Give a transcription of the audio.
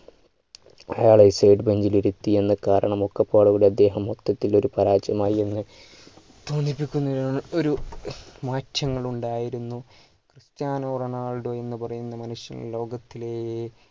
അയാളെ side bench ൽ ഇരുത്തി എന്ന കാരണമൊക്കെ അദ്ദേഹം മൊത്തത്തിൽ ഒരു പരാജയം ആയി എന്ന് കാണിപ്പിക്കുന്നതിനാണ് ഒരു മാറ്റങ്ങൾ ഉണ്ടായിരുന്നു ക്രിസ്റ്റ്യാനോ റൊണാൾഡോ എന്ന് പറയുന്ന മനുഷ്യൻ ലോകത്തിലെ